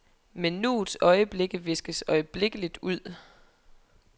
Men nuets øjeblikke viskes øjeblikkeligt ud.